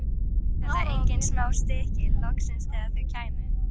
Enda væru þetta engin smá stykki, loksins þegar þau kæmu.